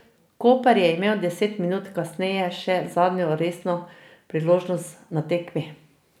Koper je imel deset minut kasneje še zadnjo resno priložnost na tekmi.